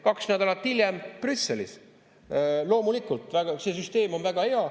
Kaks nädalat hiljem Brüsselis: loomulikult, see süsteem on väga hea.